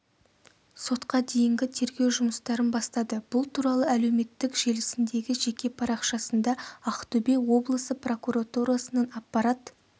сотқа дейінгі тергеу жұмыстарын бастады бұл туралы әлеуметтік желісіндегі жеке парақшасында ақтөбе облысы прокуратурасының аппарат